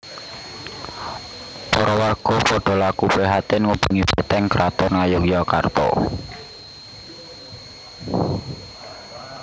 Para warga padha laku prihatin ngubengi beteng kraton Ngayogyakarta